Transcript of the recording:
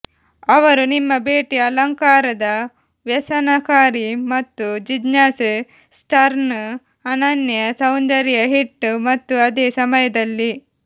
ಅವರು ನಿಮ್ಮ ಭೇಟಿ ಅಲಂಕಾರದ ವ್ಯಸನಕಾರಿ ಮತ್ತು ಜಿಜ್ಞಾಸೆ ಸ್ಟರ್ನ್ ಅನನ್ಯ ಸೌಂದರ್ಯ ಹಿಟ್ ಮತ್ತು ಅದೇ ಸಮಯದಲ್ಲಿ